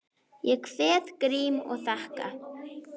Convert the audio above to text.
Ég kveð Grím og þakka.